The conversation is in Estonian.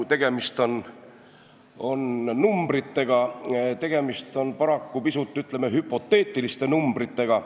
Ütlen ausalt, et tegemist on paraku pisut, ütleme, hüpoteetiliste numbritega.